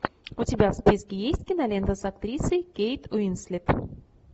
у тебя в списке есть кинолента с актрисой кейт уинслет